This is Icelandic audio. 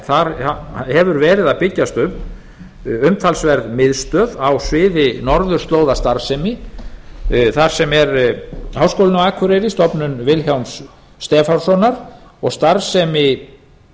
þar hefur verið að byggjast upp umtalsverð miðstöð á sviði norðurslóðastarfsemi þar sem er háskólinn á akureyri stofnun vilhjálms stefánssonar og starfsemi